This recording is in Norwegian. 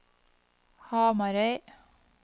Hamarøy